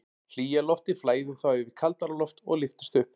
Hlýja loftið flæðir þá yfir kaldara loft og lyftist upp.